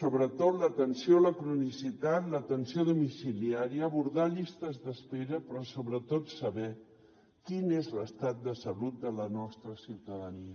sobretot l’atenció a la cronicitat l’atenció domiciliària abordar llistes d’espera però sobretot saber quin és l’estat de salut de la nostra ciutadania